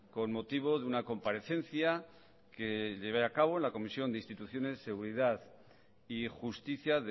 con motivo de una comparecencia que llevé a cabo en la comisión de instituciones seguridad y justicia